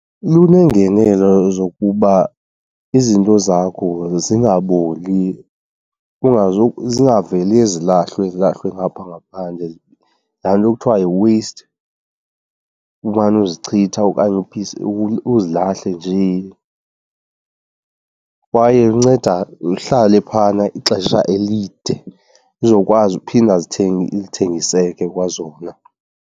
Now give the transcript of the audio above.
Luneengenelo zokuba izinto zakho zingaboli, zingaveli zilahlwe, zilahlwe ngapha ngaphandle, laa nto kuthiwa yi-waste. Umane uzichitha okanye uzilahle nje. Kwaye inceda uhlale phayana ixesha elide uzokwazi uphinda zithengiseke kwazona.